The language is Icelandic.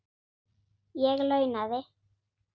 Ég launaði